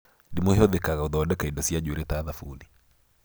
Ndimũ ĩhũthĩkaga gũthondeka indo cia njuĩrĩ ta thabuni